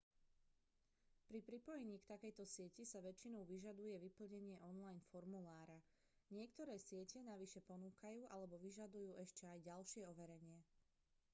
pri pripojení k takejto sieti sa väčšinou vyžaduje vyplnenie online formulára niektoré siete navyše ponúkajú alebo vyžadujú ešte aj ďalšie overenie